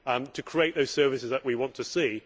to create those services that we want to see.